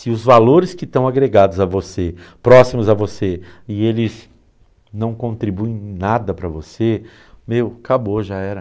Se os valores que estão agregados a você, próximos a você, e eles não contribuem em nada para você, meu, acabou, já era.